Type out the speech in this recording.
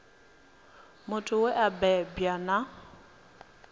muthu we a bebwa na